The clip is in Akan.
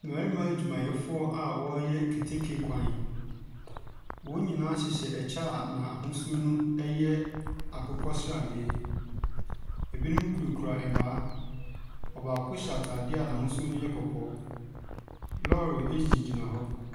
Mmarima adwumayɛfoɔ a ɔɔyɛ keteke kwan, wɔn nyinaa hyehyɛ ɛkyɛ na ahosuo no ɛyɛ akokɔsradeɛ. Ɛbinom kura kura ɛmaa, ɔbaako hyɛ ataade na ahosuo no yɛ kɔkɔɔ. Lɔɔre ɛgyina gyina hɔ.